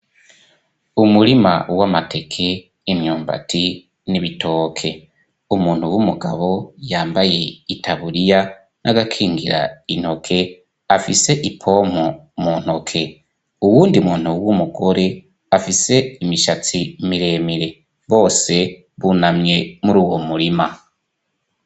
Umurima w 'amateke 'imyumbati n'ibitoke umuntu w'umugabo yambaye itaburiya n'agakingira intoke afise ipompo mu ntoke, uwundi muntu w'umugore afise imishatsi miremire, bose bunamye muruwo murima.